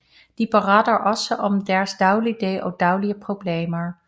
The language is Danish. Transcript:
De beretter også om deres dagligdag og daglige problemer